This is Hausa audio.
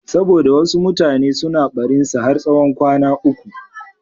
Saboda wasu mutane suna barinsa har tsawon kwana uku.